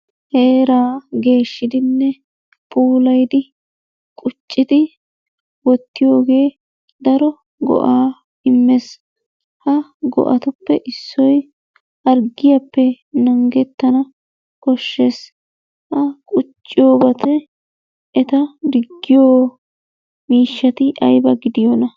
Heeraa geeshshidinne puullayidi quccidi wottiyogee daro go'aa immees. Ha go'atuppee issoy harggiyappe nangettana koshshees. Ha qucciyobatti eta diggiyo miishshati ayba gidiyoona?